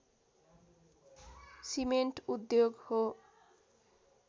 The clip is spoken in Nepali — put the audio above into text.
सिमेन्ट उद्योग हो